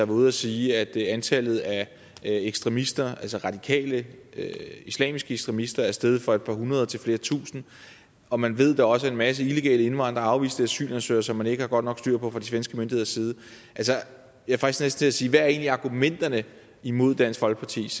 ude og sige at antallet af ekstremister altså radikale islamiske ekstremister er steget fra et par hundrede til flere tusinde og man ved at der også er en masse illegale indvandrere og afviste asylansøgere som man ikke har godt nok styr på fra de svenske myndigheder side er jeg faktisk til at sige hvad er egentlig argumenterne imod dansk folkepartis